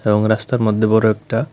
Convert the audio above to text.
এবং রাস্তার মদ্যে বড় একটা--